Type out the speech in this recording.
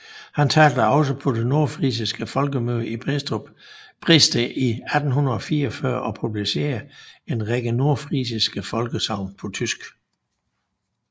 Han talte også på det nordfrisiske folkemøde i Bredsted i 1844 og publicerede en række nordfrisiske folkesagn på tysk